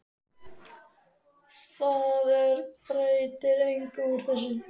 Það er breytir engu úr þessu.